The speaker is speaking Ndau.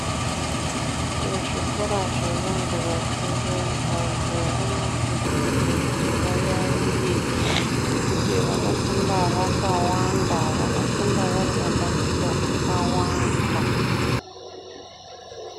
Ku zvikora zve vantu vakuru vantu vano kurudzirwa kuti va yayiye ngekutu vano funda vaka wanda vano funda vari mabandiko aka wanda.